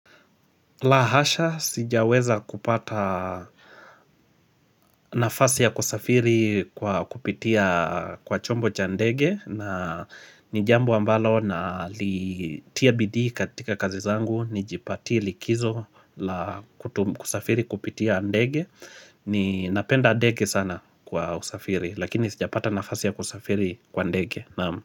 Lahasha sijaweza kupata nafasi ya kusafiri kwa kupitia kwa chombo cha ndege na nijambu ambalo na litia bidii katika kazi zangu ni jipati likizo la. Kusafiri kupitia ndege ni napenda ndege sana kwa usafiri lakini sija pata nafasi ya kusafiri kwa ndege naamu.